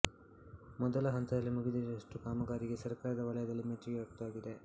ಮೊದಲ ಹಂತದಲ್ಲಿ ಮುಗಿದಿರುವಷ್ಟು ಕಾಮಗಾರಿಗೆ ಸರ್ಕಾರದ ವಲಯದಲ್ಲಿ ಮೆಚ್ಚುಗೆ ವ್ಯಕ್ತವಾಗಿದೆ